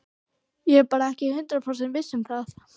Ég er bara ekki hundrað prósent viss um það.